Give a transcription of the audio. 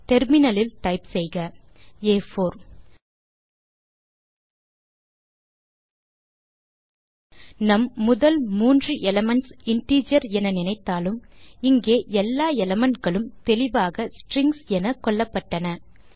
terminal இல் type செய்க ஆ4 நம் முதல் மூன்று எலிமென்ட்ஸ் இன்டிஜர்ஸ் என நினைத்தாலும் இங்கே எல்லா எலிமெண்ட் களும் தெளிவாக ஸ்ட்ரிங்ஸ் என கொள்ளப்பட்டன